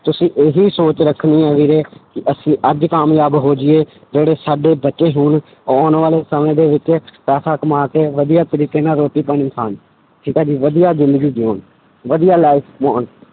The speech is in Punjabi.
ਤੁਸੀਂ ਇਹੀ ਸੋਚ ਰੱਖਣੀ ਹੈ ਵੀਰੇ ਕਿ ਅਸੀਂ ਅੱਜ ਕਾਮਯਾਬ ਹੋ ਜਾਈਏ ਜਿਹੜੇ ਸਾਡੇ ਬੱਚੇ ਹੋਣ, ਆਉਣ ਵਾਲੇ ਸਮੇਂ ਦੇ ਵਿੱਚ ਪੈਸਾ ਕਮਾ ਕੇ ਵਧੀਆ ਤਰੀਕੇ ਨਾਲ ਰੋਟੀ ਪਾਣੀ ਖਾਣ, ਠੀਕ ਹੈ ਜੀ ਵਧੀਆ ਜ਼ਿੰਦਗੀ ਜਿਊਣ, ਵਧੀਆ life